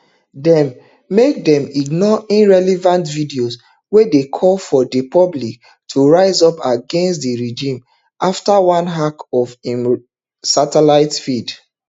dem make dem ignore irrelevant videos wey dey call for di public to rise up against di regime afta one hack of im satellite feed